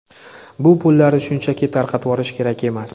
Bu pullarni shunchaki tarqatvorish kerak emas.